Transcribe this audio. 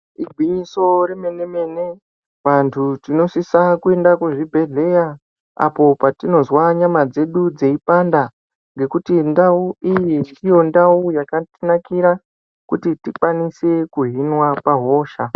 Igwinyiso remene mene, vantu tinosisa kuenda kuzvibhedhlera apo patinozwa nyama dzedu dzeipanda, ngekuti ndau iyi ndiyo ndau yakatinakira kuti tikwanise kuhinwa pahosha.